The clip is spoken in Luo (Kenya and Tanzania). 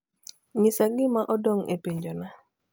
nyisa gima odong e penjona